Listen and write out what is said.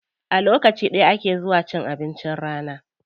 A lokaci ɗaya ake zuwa cin abincin rana.